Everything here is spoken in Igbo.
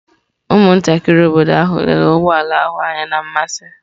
Ụmụntakịrị obodo ahụ lere ụgbọ ala ahụ anya na mmasị.